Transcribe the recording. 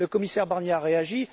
Le commissaire Barnier a réagi.